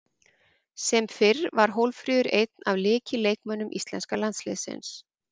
Sem fyrr var Hólmfríður einn af lykilleikmönnum íslenska landsliðsins.